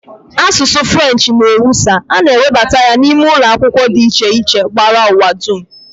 Asụsụ French n'ewusa, a na e webata ya n'ime ụlọ akwụkwọ dị iche iche gbara ụwa dum